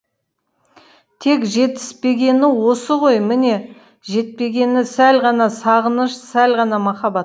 тек жетіспегені осы ғой міне жетпегені сәл ғана сағыныш сәл ғана махаббат